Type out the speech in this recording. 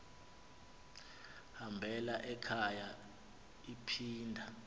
hambela ekhaya iphinda